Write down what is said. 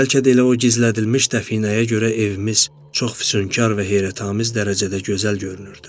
Bəlkə də elə o gizlədilmiş dəfinəyə görə evimiz çox füsunkar və heyrətamiz dərəcədə gözəl görünürdü.